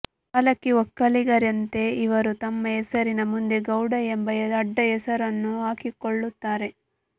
ಹಾಲಕ್ಕಿ ಒಕ್ಕಲಿಗರಂತೆ ಇವರೂ ತಮ್ಮ ಹೆಸರಿನ ಮುಂದೆ ಗೌಡ ಎಂಬ ಅಡ್ಡ ಹೆಸರನ್ನು ಹಾಕಿಕೊಳ್ಳುತ್ತಾರೆ